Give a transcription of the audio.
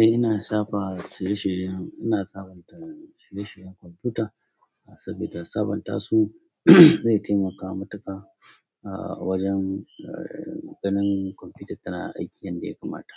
Eh ina safa shirye-shiryen, ina sabonta shirye-shiryen kwamfuta saboda sabonta su zai taimaka matuƙa wajen ganin kwamfutar tana aiki yadda ya kamata.